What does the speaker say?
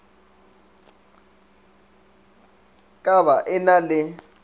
ka ba e na le